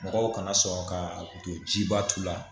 Mɔgɔw kana sɔrɔ ka don jiba t'u la